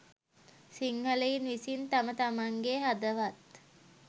සිංහලයින් විසින් තම තමන්ගේ හදවත්